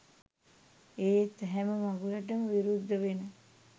ඒත් හැම මඟුලටම විරුද්ධ වෙන